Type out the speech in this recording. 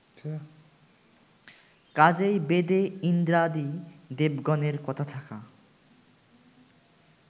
কাজেই বেদে ইন্দ্রাদি দেবগণের কথা থাকা